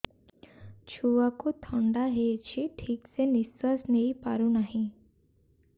ଛୁଆକୁ ଥଣ୍ଡା ହେଇଛି ଠିକ ସେ ନିଶ୍ୱାସ ନେଇ ପାରୁ ନାହିଁ